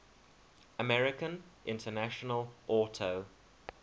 american international auto